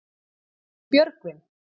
Björgvin